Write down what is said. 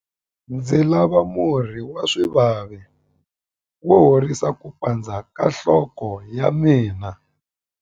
Ndzi lava murhi wa swivavi wo horisa ku pandza ka nhloko ya mina.